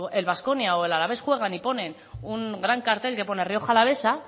el baskonia o el alavés juegan y ponen un gran cartel que pone rioja alavesa